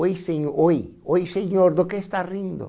Oi sen oi, ou senhor, do que está rindo?